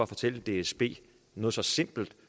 fortælle dsb noget så simpelt